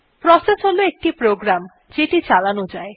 process হল একটি programme যেটি চালানো যায়